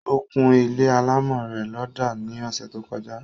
Ó kún ilé alámọ̀ rẹ̀ lọ́dà ní ọsẹ̀ tó kọjá